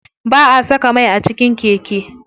Ba'a saka mai a cikin keke.